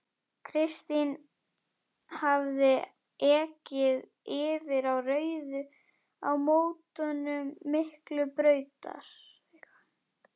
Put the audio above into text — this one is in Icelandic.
Kristinn hafði ekið yfir á rauðu á mótum Miklubrautar og